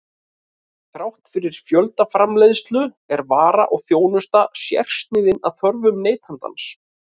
Þrátt fyrir fjöldaframleiðslu er vara og þjónusta sérsniðin að þörfum neytandans.